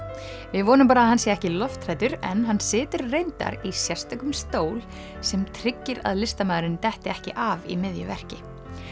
við vonum bara að hann sé ekki lofthræddur en hann situr reyndar í sérstökum stól sem tryggir að listamaðurinn detti ekki af í miðju verki